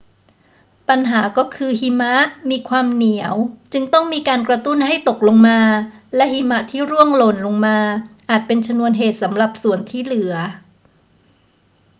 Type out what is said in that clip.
ปัญหาก็คือหิมะมีความเหนียวจึงต้องมีการกระตุ้นให้ตกลงมา และหิมะที่ร่วงหล่นลงมาอาจเป็นชนวนเหตุสำหรับส่วนที่เหลือ